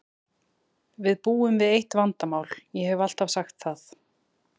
Við búum við eitt vandamál, ég hef alltaf sagt það.